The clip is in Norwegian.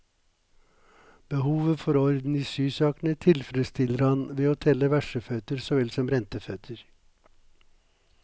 Behovet for orden i sysakene tilfredsstiller han ved å telle verseføtter såvel som renteføtter.